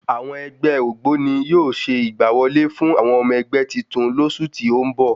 Àwọn ẹgbẹ́ ògbóni yóò ṣe ìgbà wọlé fún àwọn ọmọ ẹgbẹ́ titun lósù tí o n bọ